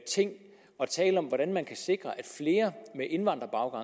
ting at tale om hvordan man kan sikre at flere med indvandrerbaggrund